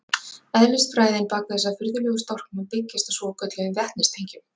Eðlisfræðin bak við þessa furðulegu storknun byggist á svokölluðum vetnistengjum.